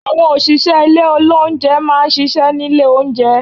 Àwọn òṣìṣẹ́ ilé olóúnjẹ má a n ṣiṣẹ́ nílé oúnjẹ